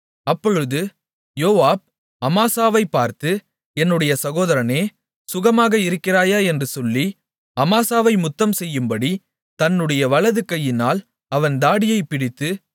அப்பொழுது யோவாப் அமாசாவைப் பார்த்து என்னுடைய சகோதரனே சுகமாக இருக்கிறாயா என்று சொல்லி அமாசாவை முத்தம்செய்யும்படி தன்னுடைய வலது கையினால் அவன் தாடியைப் பிடித்து